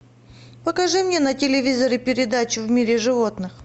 покажи мне на телевизоре передачу в мире животных